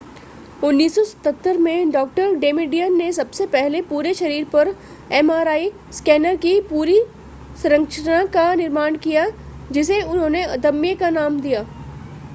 1977 में डॉ डेमेडियन ने सबसे पहले पूरे शरीर पर एमआरआई स्कैनर की संरचना का निर्माण किया जिसे उन्होंने अदम्य नाम दिया